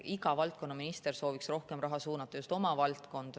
Iga valdkonna minister sooviks rohkem raha suunata just oma valdkonda.